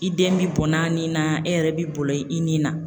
I den bi bɔnn'a ni na e yɛrɛ bi bɔlɔ i nin na